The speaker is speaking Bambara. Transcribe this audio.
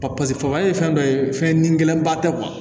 paseke faga ye fɛn dɔ ye fɛn ni gɛlɛnba tɛ